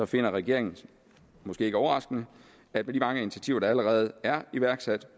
finder regeringen måske ikke overraskende at med de mange initiativer der allerede er iværksat